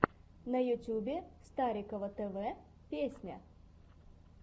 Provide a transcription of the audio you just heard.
на ютубе старикова т в песня